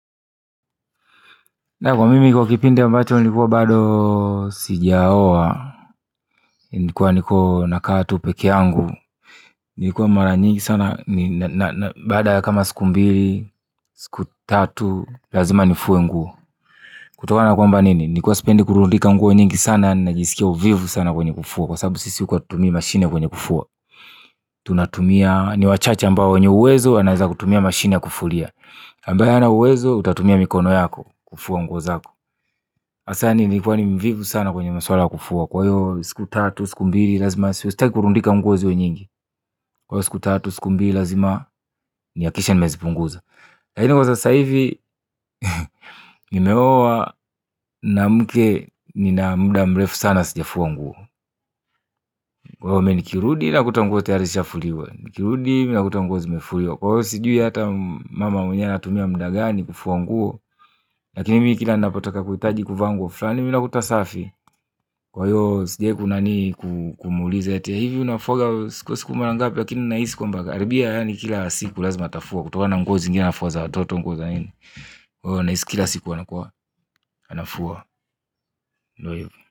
Na kwa mimi kwa kipindi mbacho nilikuwa bado sijaoa nilikuwa niko nakaa tu peke angu nikuwa mara nyingi sana, baada ya kama siku mbili siku tatu, lazima nifue nguo kutokana na kwamba nini, nilikuwa sipendi kurundika nguo nyingi sana, najisikia uvivu sana kwenye kufua kwa sababu sisi huku hatutumii mashine kwenye kufua tunatumia, ni wachache ambao wenye uwezo, wanaweza kutumia mashine ya kufulia ambae hana uwezo utatumia mikono yako kufua nguo zako hasa yani nilikuwa ni mvivu sana kwenye maswala kufua. Kwahiyo siku tatu siku mbili lazima sitaki kurundika nguo ziwe nyingi. Kwayo siku tatu siku mbili lazima ni hakikishe nimezi punguza laini kwa sasahivi. Nimeoa nina mke nina muda mrefu sana sijafua nguo. Kwahiyo mi nikirudi nakuta nguo tayari zimeshafuliwa kwahiyo sijui ata mama mwenyewe anatumia muda gani kufua nguo lakini mi kila ninapotaka kuhitaji kuvaa nguo fulani mi nakuta safi kwa hiyo sijawahi kunani kumuuliza eti eeh hivi unafuaga kwa siku mara ngapi lakini nahisi kwamba karibia yaani kila siku lazima atafua kutokana nguo zingine anafua za watoto nguo za nini kwa hiyo nahisi kila siku anakua anafua ndio hivyo.